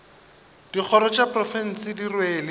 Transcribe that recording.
dikgoro tša profense di rwele